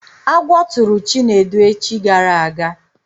Agwọ tụrụ Chinedu echi gara aga